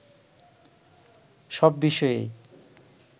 সব বিষয়েই